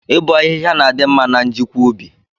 Ị bọ ahịhịa na-adị mma na njikwa ubi.